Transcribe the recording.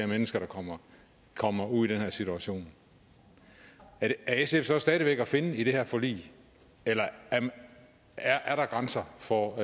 mennesker der kommer kommer ud i den her situation er sf så stadig væk at finde i det her forlig eller er der grænser for